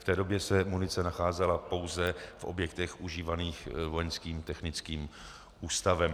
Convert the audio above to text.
V té době se munice nacházela pouze v objektech užívaných Vojenským technickým ústavem.